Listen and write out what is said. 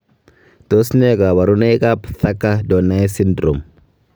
Tos nee koborunoikab Thakker Donnai syndrome?